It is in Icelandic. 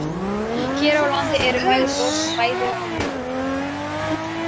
Hann vildi fara til Flórída, sagði Hildur.